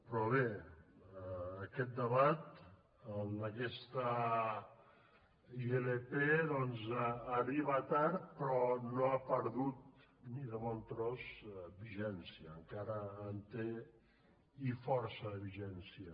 però bé aquest debat el d’aquesta ilp doncs arriba tard però no ha perdut ni de bon tros vigència encara en té i força de vigència